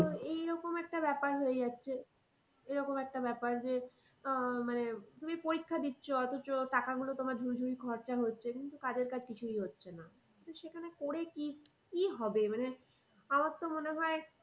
এই রকম একটা ব্যাপার হয়ে যাচ্ছে। এরকম একটা ব্যাপার যে আহ মানে তুমি পরিক্ষা দিচ্ছ অথচ টাকা গুলো তোমার ঝুড়ি ঝুড়ি খরচা হচ্ছে কিন্তু কাজের কাজ কিছুই হচ্ছে না। তো সেখানে করে, করে কি হবে মানে আমার তো মনে হয়।